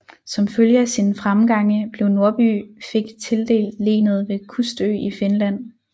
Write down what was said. Som følge af sine fremgange blev Norby fik tildelt lenet ved Kustø i Finland